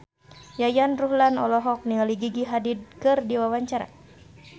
Yayan Ruhlan olohok ningali Gigi Hadid keur diwawancara